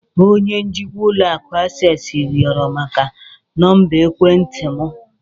Onye njikwa ụlọ akụ Access rịọrọ maka nọmba ekwentị m.